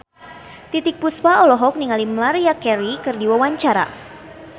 Titiek Puspa olohok ningali Maria Carey keur diwawancara